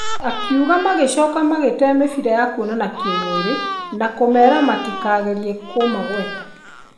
Akiuga magĩcoka magĩte mĩbĩra ya kũonana kĩmwĩrĩ na kũmera matikagerie kũmagweta.